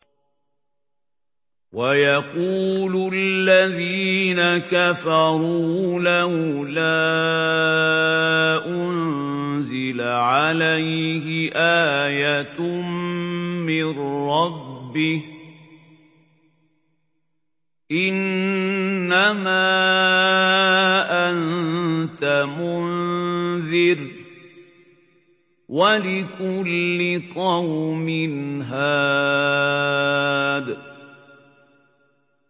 وَيَقُولُ الَّذِينَ كَفَرُوا لَوْلَا أُنزِلَ عَلَيْهِ آيَةٌ مِّن رَّبِّهِ ۗ إِنَّمَا أَنتَ مُنذِرٌ ۖ وَلِكُلِّ قَوْمٍ هَادٍ